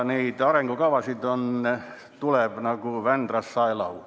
Neid arengukavasid tuleb nagu Vändrast saelaudu.